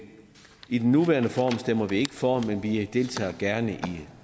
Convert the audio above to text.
i den nuværende form stemmer vi ikke for forslaget men vi deltager gerne i